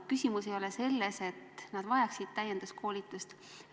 Küsimus ei ole selles, et nad vajaksid täienduskoolitust.